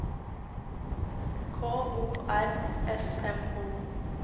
K O R S M O